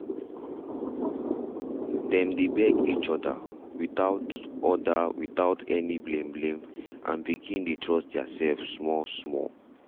dem beg each other without other without any blame blame and begin dey trust their self small small.